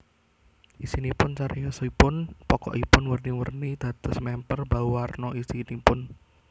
Isinipun Cariyosipun pokokipun werni werni dados mèmper bauwarna isinipun